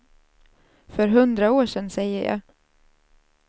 För hundra år sen, säger jag.